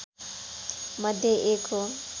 मध्ये एक हो